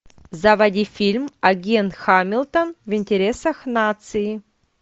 заводи фильм агент хамилтон в интересах нации